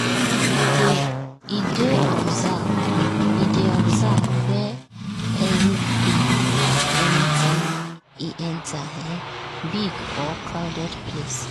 e dey observe where exit dey anytime e enter um big or crowded place.